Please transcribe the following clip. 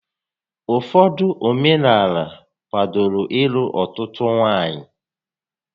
Ụfọdụ omenaala kwádoro ịlụ ọtụtụ nwaanyị